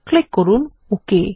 click করুন okay